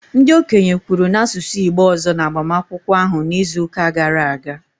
Ndị okenye kwuru n'asụsụ Igbo ọzọ n'agbamakwụkwọ ahụ n'izuụka gara aga